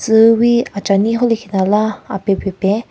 Tsu wi achinyi khon ley khinala apen pen pen.